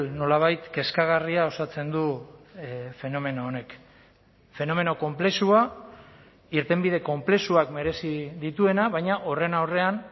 nolabait kezkagarria osatzen du fenomeno honek fenomeno konplexua irtenbide konplexuak merezi dituena baina horren aurrean